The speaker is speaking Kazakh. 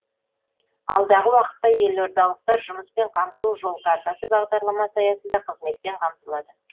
алдағы уақытта елордалықтар жұмыспен қамту жол картасы бағдарламасы аясында қызметпен қамтылады